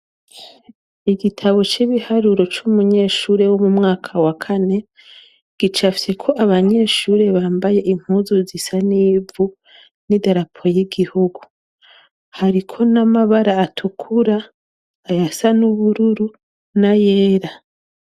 Igitabo cy'ibiharuro c'umunyeshuri wo mu mwaka wa kane gicafyeko abanyeshure bambaye impuzu zisa nivu n'idarapo ry'igihugu hariko n'amabara atukura ayasa nubururu nayera.